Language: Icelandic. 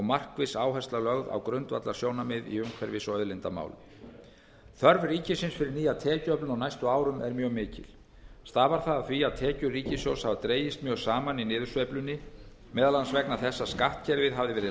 markviss áhersla lögð á grundvallarsjónarmið í umhverfis og auðlindamálum þörf ríkisins fyrir nýja tekjuöflun á næstu árum er mjög mikil stafar það af því að tekjur ríkissjóðs hafa dregist mjög saman í niðursveiflunni meðal annars vegna þess að skattkerfið hafði verið